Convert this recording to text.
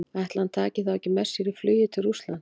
Ætli hann taki þá ekki með sér í flugið til Rússlands?